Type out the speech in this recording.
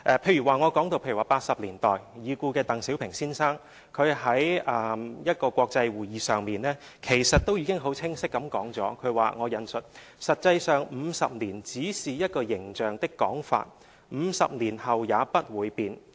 例如已故的鄧小平先生在1980年代的一個國際會議上已經很清晰地指出，他說："實際上50年只是一個形象的講法 ，50 年後也不會變。